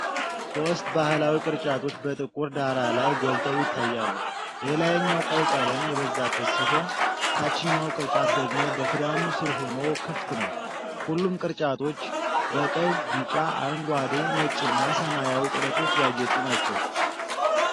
ሶስት ባህላዊ ቅርጫቶች በጥቁር ዳራ ላይ ጎልተው ይታያሉ። የላይኛው ቀይ ቀለም የበዛበት ሲሆን፣ ታችኛው ቅርጫት ደግሞ በክዳኑ ስር ሆኖ ክፍት ነው። ሁሉም ቅርጫቶች በቀይ፣ ቢጫ፣ አረንጓዴ፣ ነጭና ሰማያዊ ጥለቶች ያጌጡ ናቸው።